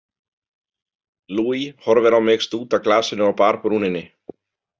Luis horfir á mig stúta glasinu á barbrúninni.